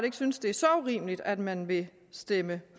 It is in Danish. ikke synes det er så urimeligt at man vil stemme